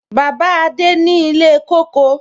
Bàbá adé ni ilé kóko.